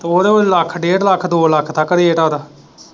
ਉਹ ਤਾਂ ਲੱਖ ਡੇਢ ਲੱਖ, ਦੋ ਲੱਖ ਤੱਕ ਰੇਟ ਆ ਉਦਾ।